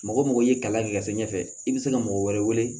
Mɔgɔ mɔgɔ ye kalan kɛ ka se ɲɛfɛ i bɛ se ka mɔgɔ wɛrɛ wele